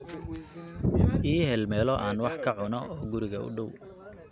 ii hel meelo aan wax ka cuno oo guriga u dhow